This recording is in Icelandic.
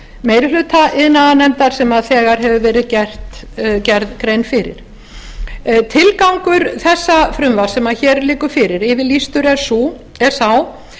meiri hluta iðnaðarnefndar sem þegar hefur verið gerð grein fyrir tilgangur þessa frumvarps sem hér liggur fyrir yfirlýstur er sá